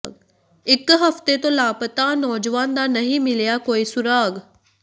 ਇਕ ਹਫਤੇ ਤੋਂ ਲਾਪਤਾ ਨੌਜਵਾਨ ਦਾ ਨਹੀਂ ਮਿਲਿਆ ਕੋਈ ਸੁਰਾਗ